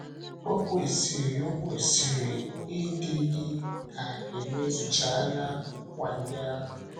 Ọ kwesịrị Ọ kwesịrị ịdị gị ka e mezúchàalárị nkwa ndị ahụ.